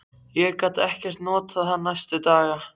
Ég gat ekkert notað hann næstu daga.